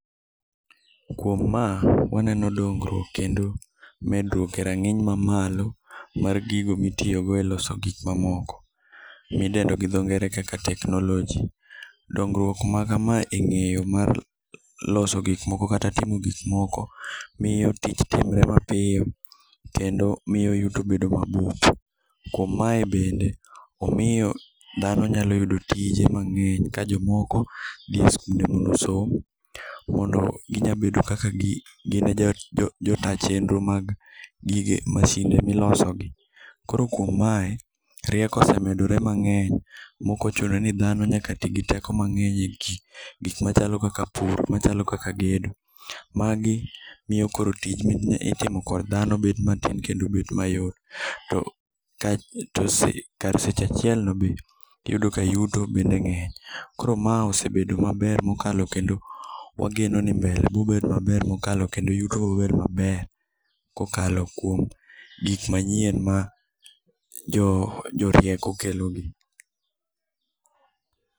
Kuom ma waneno dongruok kendo medruok e rang'iny ma malo mar gigo mitiyogo eloso gik mamoko midendo gi dho nger kaka teknoloji. Dongruok makamae e ng'eyo mar loso gik moko kata timo gik moko miyo tich timre mapiyo kendo miyo yuto bedo ma bup kuom mae bende om iyo dhano nyalo yudo tije mang'eny ka jomoko dhi e sikunde mondo osom ka gin e jo ta chenro mag msinde milosogi. Koro kuom mae, rieko osemedore mang#eny maok ochuno ni dhano nyaka ti gi teko mang'eny egik gik machalo kaka pur machalo kaka gedo, magi miyo tich mitimo kod dhano bet matin kendo bet mayot. To kar seche achiel no yudo ka yuto bende ng'eny koro mae ose bedo maber mokalo kendo wageno ni mbele biro bet mabewr kendo yuto biro bet maber kokalo kuom gik manyien ma jorieko kelogi.